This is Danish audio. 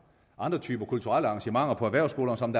andre typer kulturelle arrangementer på erhvervsskolerne som